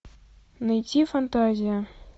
найти фантазия